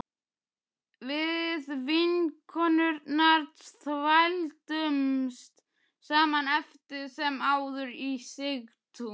Við vinkonurnar þvældumst saman eftir sem áður í Sigtún